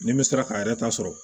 Ni n bɛ se k'a yɛrɛ ta sɔrɔ